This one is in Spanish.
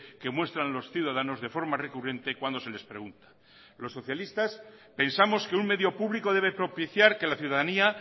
que muestran los ciudadanos de forma recurrente cuando se les pregunta los socialistas pensamos que un medio público debe propiciar que la ciudadanía